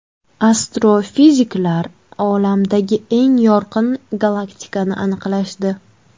Astrofiziklar Olamdagi eng yorqin galaktikani aniqlashdi.